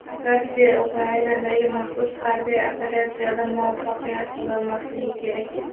Rossiya Ukrainadagi "maxsus harbiy operatsiyada" muvaffaqiyat qozonmasligi kerak.